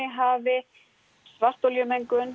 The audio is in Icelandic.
hafi